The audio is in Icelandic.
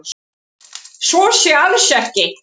Svo sé alls ekki